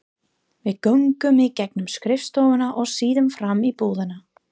Við göngum í gegnum skrifstofuna og síðan fram í búðina.